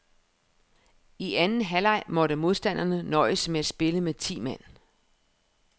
I anden halvleg måtte modstanderne nøjes med at spille med ti mand.